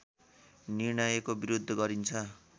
निर्णयको विरोध गरिन्छ